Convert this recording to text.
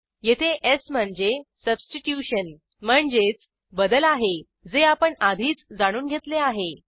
येथे स् म्हणजे सबस्टीट्युशन म्हणजेच बदल आहे जे आपण आधीच जाणून घेतले आहे